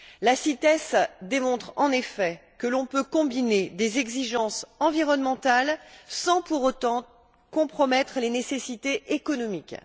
La CITES démontre en effet que l'on peut combiner des exigences environnementales sans pour autant compromettre les nécessités économiques.